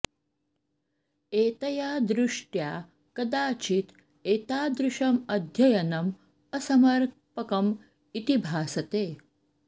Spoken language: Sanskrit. एतया दृष्ट्या कदाचित् एतादृशम् अध्ययनम् असमर्पकम् इति भासते